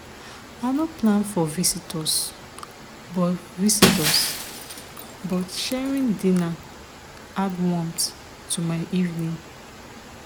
i no plan for visitors but visitors but sharing dinner add warmth to my evening.